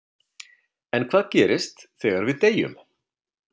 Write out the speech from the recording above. En hvað gerist þegar við deyjum?